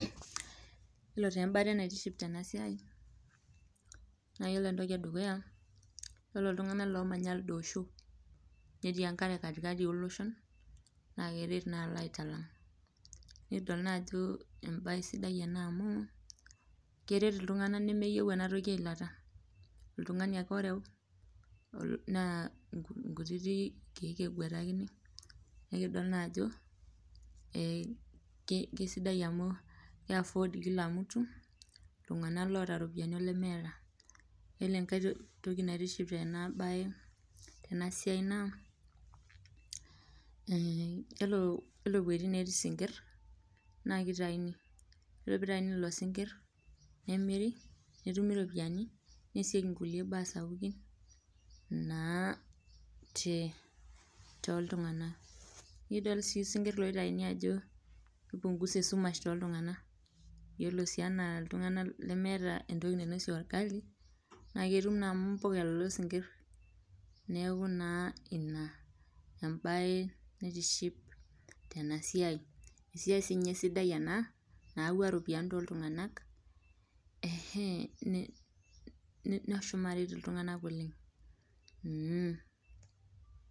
Yiolo taa embate naitiship tena siai ,naa yiolo entoki edukuya ,yiolo ltunganak oomanya lido osho netii enkare katikati oloshon naa keret naa alo aitalang .nikidol naa ajo entoki sidai ena amu keret naa iltunganak nemeyieu eilata .oltungani ake oreu naa nkutitik keek ake egwetakini nikidol naa ajo keisidai amu keiaford Kila mtu ltunganak loota ropiyiani olemeeta. yiolo enkae bae naitiship tena siai naa ore eweji netii isikir naaa kitaini, yiolo pee eitaini lelo sinkir nemiri naa ketumito ropiani neesieki nkulie baa sapukin naa toltunganak .nidol sii sinkir loitayuni ajo keipungusa esumash tooltunganak .yiolo sii ana ltunganak lemeeta entoki nainosie orgali naa amu impuka lelo sinkir, neeku naa ina embate naitiship tena siai .esiai siininye sidai ena nayauwa ropiani toltunganak neshomo aret iltunganak oleng.